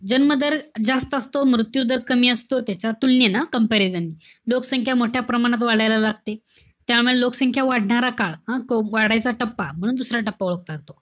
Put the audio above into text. जन्म दर जास्त असतो, मृत्यू दर कमी असतो, त्याच्या तुलनेने, comparison ने. लोकसंख्या मोठ्या प्रमाणात वाढायला लागते. त्यामुळे लोकसंख्या वाढणारा काळ, हं? तो वाढायचा टप्पा. म दुसरा टप्पा ओळखला जातो.